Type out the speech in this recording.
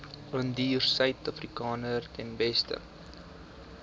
indiërsuidafrikaners ten beste